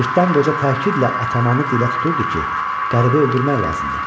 Cırtdan qoca təkidlə atamanı dilə tuturdu ki, qəribi öldürmək lazımdır.